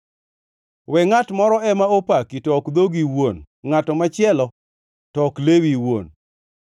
We ngʼat moro ema opaki, to ok dhogi iwuon; ngʼato machielo, to ok lewi iwuon.